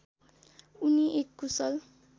उनी एक कुशल